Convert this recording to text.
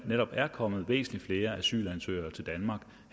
netop er kommet væsentlig flere asylansøgere til danmark